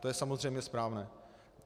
To je samozřejmě správné.